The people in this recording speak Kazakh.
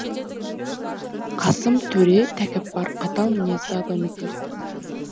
қасым төре тәкаппар қатал мінезді адам екен